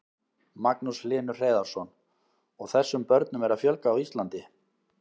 Magnús Hlynur Hreiðarsson: Og þessum börnum er að fjölga á Íslandi?